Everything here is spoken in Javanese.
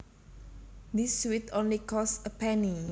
This sweet only costs a penny